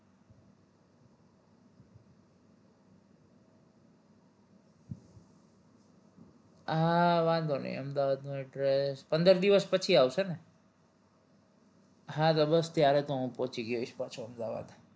હા વાંધો નહિ અમદાવાદનું address પંદર દિવસ પછી આવશે ને હા તો બસ ત્યારે તો હું પહોચી ગયો હઈશ પાછો અમદાવાદ